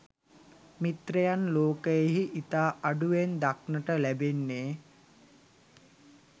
මිත්‍රයන් ලෝකයෙහි ඉතා අඩුවෙන් දක්නට ලැබෙන්නේ.